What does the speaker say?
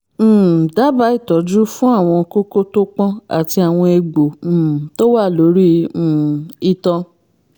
um dábàá ìtọ́jú fún àwọn kókó tó pọ́n àti àwọn egbò um tó wà lórí um itan